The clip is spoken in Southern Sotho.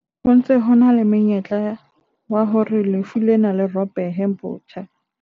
Ho ntse ho na le monyetla wa hore lefu lena le ropohe botjha.